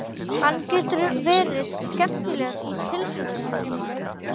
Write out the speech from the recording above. Hann getur verið skemmtilegur í tilsvörum